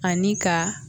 Ani ka